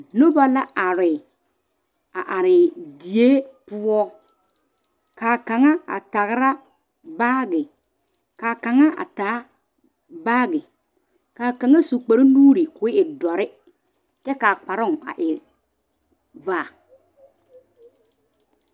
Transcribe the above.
Noba la are a are die poɔ kaa kaŋa a tagra baagi kaa kaŋa a taa baagi kaa kaŋa su kpare nuure ko'o doɔre kyɛ kaa kparo a e vaa